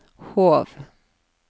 Hov